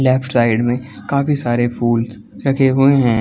Left side में काफ़ी सारे फूलस रखे हुए हैं।